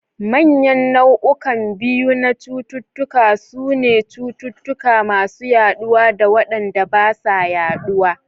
Manyan nau'ukan biyu na cututtuka sune cututtuka masu yaɗuwa da waɗanda ba sa yaɗuwa.